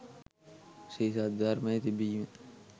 ශ්‍රී සද්ධර්මය තිබීම